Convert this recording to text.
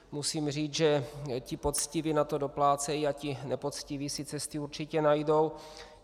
Musím říct, že ti poctiví na to doplácejí a ti nepoctiví si cesty určitě najdou.